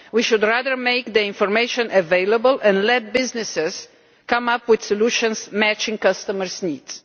we should rather make the information available and let businesses come up with solutions matching customers' needs.